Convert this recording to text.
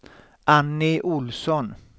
Annie Ohlsson